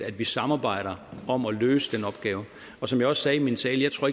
at vi samarbejder om at løse den opgave som jeg også sagde i min tale tror